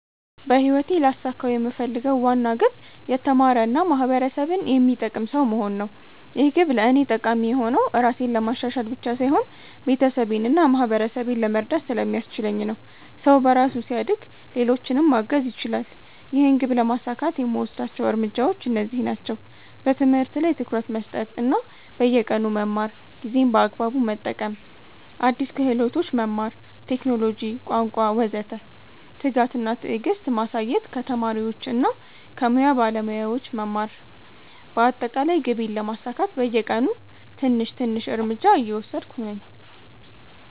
በህይወቴ ልያሳካው የምፈልገው ዋና ግብ የተማረ እና ማህበረሰብን የሚጠቅም ሰው መሆን ነው። ይህ ግብ ለእኔ ጠቃሚ የሆነው ራሴን ለማሻሻል ብቻ ሳይሆን ቤተሰቤን እና ማህበረሰቤን ለመርዳት ስለሚያስችለኝ ነው። ሰው በራሱ ሲያድግ ሌሎችንም ማገዝ ይችላል። ይህን ግብ ለማሳካት የምወስዳቸው እርምጃዎች እነዚህ ናቸው፦ በትምህርት ላይ ትኩረት መስጠት እና በየቀኑ መማር ጊዜን በአግባቡ መጠቀም አዲስ ክህሎቶች መማር (ቴክኖሎጂ፣ ቋንቋ ወዘተ) ትጋት እና ትዕግስት ማሳየት ከተማሪዎች እና ከሙያ ባለሞያዎች መማር በአጠቃላይ ግቤን ለማሳካት በየቀኑ ትንሽ ትንሽ እርምጃ እየወሰድሁ ነኝ።